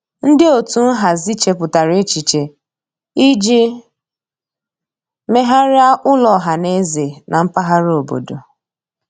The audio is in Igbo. Ndị otu nhazi chepụtara echiche iji megharịa ụlọ ọhaneze na mpaghara obodo.